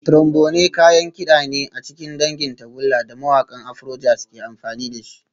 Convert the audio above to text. Trombone kayan kida ne a cikin dangin tagulla da mawakan Afrojazz ke amfani da shi